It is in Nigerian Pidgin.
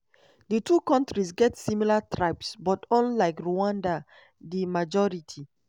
di two kontris get similar tribes but unlike rwanda di majority